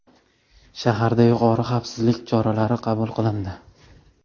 Shaharda yuqori xavfsizlik choralari qabul qilindi.